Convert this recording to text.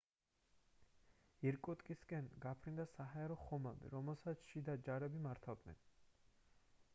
ირკუტსკისკენ გაფრინდა საჰაერო ხომალდი რომელსაც შიდა ჯარები მართავდნენ